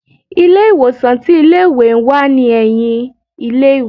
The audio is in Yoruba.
ilé ìwòsan tí ilé ìwé n wá ní eyìn ilé ìwé